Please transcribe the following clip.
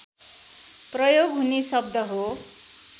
प्रयोग हुने शब्द हो